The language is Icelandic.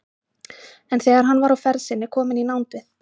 En þegar hann var á ferð sinni kominn í nánd við